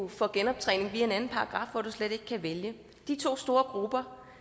får genoptræning via en anden paragraf hvor du slet ikke kan vælge de to store grupper